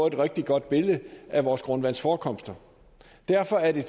et rigtig godt billede af vores grundvandsforekomster derfor er det